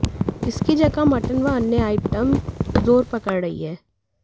इसकी जगह मटन व अन्य आइटम जोर पकड़ रही है